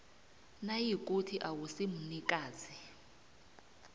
nayikuthi awusi mnikazi